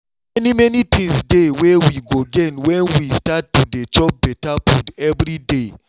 many many things dey wey we go gain when we start to dey chop better food every day